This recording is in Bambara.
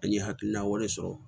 An ye hakilina wɛrɛ sɔrɔ